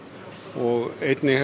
og einnig